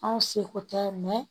Anw seko tɛ mɛ